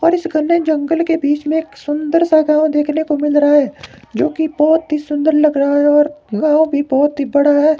और इस घने जंगल के बीच में एक सुंदर सा गांव देखने को मिल रहा है जो कि बहोत ही सुंदर लग रहा है और गांव भी बहोत ही बड़ा है।